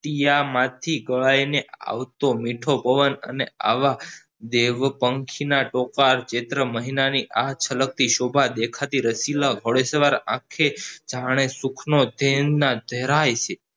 કિયામાંથી ભરાઈને આવતો મીઠો પવન અને આવા જેવો પંખી ના તોપાદ ચિત્ર મહિનાની આ છલકતી શોભા દેખાતી રચીલાં ઘોડેસવાર આંખે જાણે સુખનો ભેરુના ધરાય છે